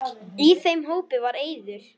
Í þeim hópi var Eiður.